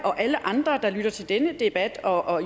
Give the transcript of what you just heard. og alle andre der lytter til denne debat og